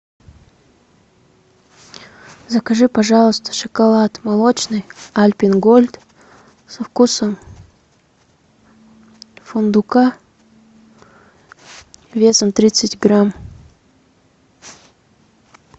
закажи пожалуйста шоколад молочный альпен гольд со вкусом фундука весом тридцать грамм